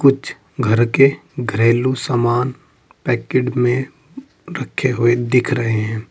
कुछ घर के घरेलू समान पैकेट में रखे हुए दिख रहे है।